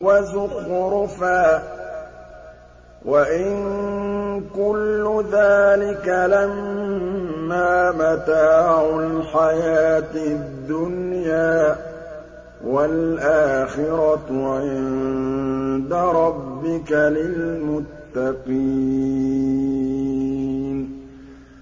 وَزُخْرُفًا ۚ وَإِن كُلُّ ذَٰلِكَ لَمَّا مَتَاعُ الْحَيَاةِ الدُّنْيَا ۚ وَالْآخِرَةُ عِندَ رَبِّكَ لِلْمُتَّقِينَ